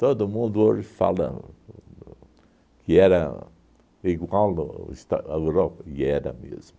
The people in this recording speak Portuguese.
Todo mundo hoje falam o que era igual o esta a Europa, e era mesmo.